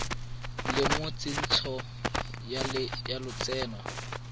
le mo tsentsho ya lotseno